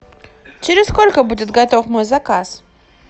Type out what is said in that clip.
через сколько будет готов мой заказ